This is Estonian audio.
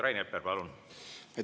Rain Epler, palun!